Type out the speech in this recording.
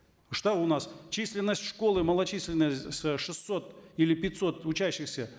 что у нас численность школы малочисленность с шестисот или пятисот учащихся